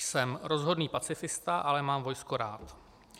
"Jsem rozhodný pacifista, ale mám vojsko rád.